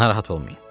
Narahat olmayın.